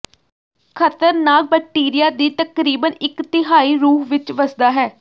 ਖ਼ਤਰਨਾਕ ਬੈਕਟੀਰੀਆ ਦੀ ਤਕਰੀਬਨ ਇਕ ਤਿਹਾਈ ਰੂਹ ਵਿੱਚ ਵਸਦਾ ਹੈ